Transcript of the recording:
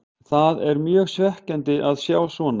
Það er mjög svekkjandi að sjá svona.